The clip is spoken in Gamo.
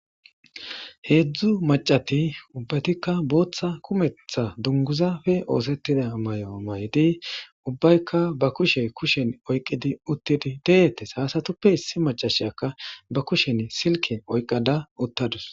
heedzdzu macati ubbatikka booththa kumetha dunguzafe oosettida may7o may7di ubbaykka ba kushe kushen oyqqidi uttidi deeettes haasatuppe issi macashiyakka ba kushen silke oyqqada uttadus